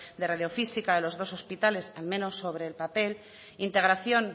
de radiofísica en los dos hospitales al menos sobre el papel integración